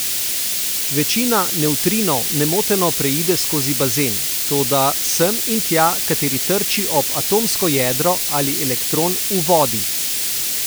Večina nevtrinov nemoteno preide skozi bazen, toda sem in tja kateri trči ob atomsko jedro ali elektron v vodi.